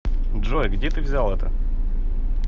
джой где ты взял это